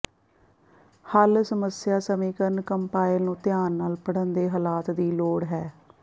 ਹੱਲ ਸਮੱਸਿਆ ਸਮੀਕਰਣ ਕੰਪਾਇਲ ਨੂੰ ਧਿਆਨ ਨਾਲ ਪੜ੍ਹਨ ਦੇ ਹਾਲਾਤ ਦੀ ਲੋੜ ਹੈ